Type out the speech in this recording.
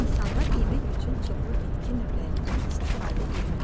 İnsanlar yemək üçün çoxlu bitki növlərindən istifadə edirlər.